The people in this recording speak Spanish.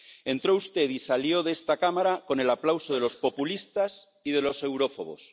Entró usted y salió de esta Cámara con el aplauso de los populistas y de los eurófobos.